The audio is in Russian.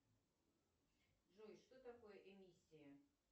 джой что такое эмиссия